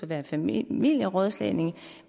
være familierådslagning